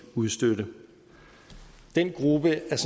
udstødte den gruppe er